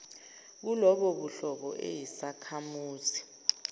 kulobo buhlobo eyisakhamuzi